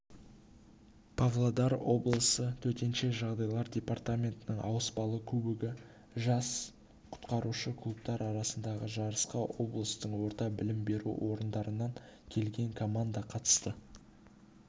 павлодар облысы төтенше жағдайлар департаментінің ауыспалы кубогы үшін жас құтқарушы клубтары арасындағы жарысқа облыстың орта білім беру орындарынан келген команда қатысты